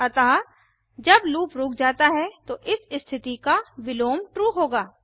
अतः जब लूप रुक जाता है तो इस स्थिति का विलोम ट्रू होगा